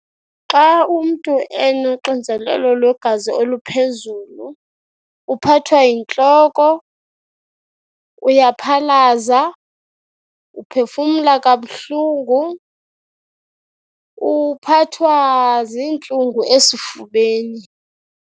Xa umntu enoxinzelelo lwegazi oluphezulu uphathwa yintloko, uyaphalaza, uphefumla kabuhlungu, uphathwa ziintlungu esifubeni.